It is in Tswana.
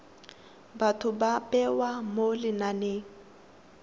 batho ba bewa mo lenaneng